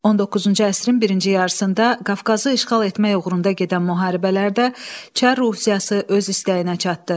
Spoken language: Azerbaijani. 19-cu əsrin birinci yarısında Qafqazı işğal etmək uğrunda gedən müharibələrdə çar Rusiyası öz istəyinə çatdı.